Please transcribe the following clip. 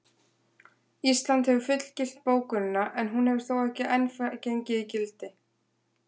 Ísland hefur fullgilt bókunina en hún hefur þó ekki enn gengið í gildi.